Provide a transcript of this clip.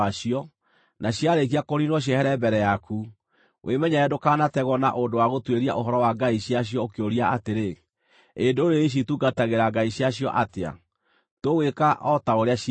na ciarĩkia kũniinwo ciehere mbere yaku, wĩmenyerere ndũkanategwo na ũndũ wa gũtuĩria ũhoro wa ngai ciacio ũkĩũria atĩrĩ, “Ĩ ndũrĩrĩ ici itungatagĩra ngai ciacio atĩa? Tũgwĩka o ta ũrĩa ciĩkaga.”